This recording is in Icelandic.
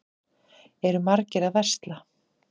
Eru margir að versla?